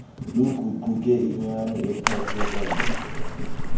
luguquke inyani ephathekayo